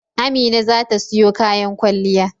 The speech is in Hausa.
Amina za ta siyo kayan kwalliya.